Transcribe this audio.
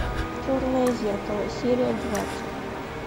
черное зеркало серия двадцать